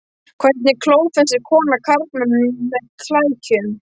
Hvernig klófestir kona karlmann með klækjum?